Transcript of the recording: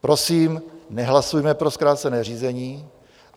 Prosím, nehlasujme pro zkrácené řízené.